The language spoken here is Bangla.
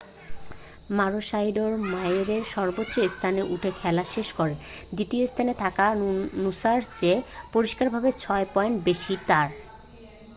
মারোশাইডোর মইয়ের সর্বোচ্চ স্থানে উঠে খেলা শেষ করেন দ্বিতীয় স্থানে থাকা নুসা'র চেয়ে পরিষ্কারভাবে ছয় পয়েন্ট বেশী তার